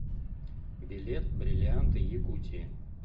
билет бриллианты якутии